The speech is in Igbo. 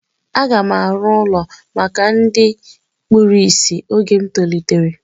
A ga m arụ ụlọ maka ndị kpụrụ isi oge m tolitere